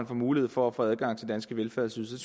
får mulighed for at få adgang til danske velfærdsydelser